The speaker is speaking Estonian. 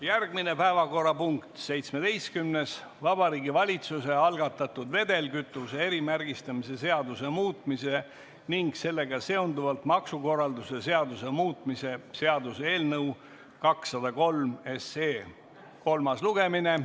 Järgmine päevakorrapunkt, nr 17, Vabariigi Valitsuse algatatud vedelkütuse erimärgistamise seaduse muutmise ning sellega seonduvalt maksukorralduse seaduse muutmise seaduse eelnõu 203 kolmas lugemine.